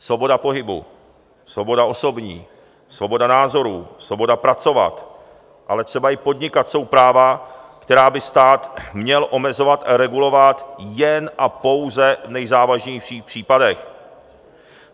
Svoboda pohybu, svoboda osobní, svoboda názorů, svoboda pracovat, ale třeba i podnikat jsou práva, která by stát měl omezovat a regulovat jen a pouze v nejzávažnějších případech.